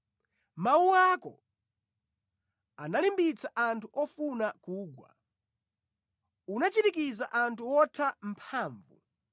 Mawu ako analimbitsa anthu ofuna kugwa; unachirikiza anthu wotha mphamvu.